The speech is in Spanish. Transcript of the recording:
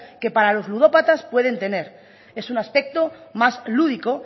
que para los ludópatas puede tener es un aspecto más lúdico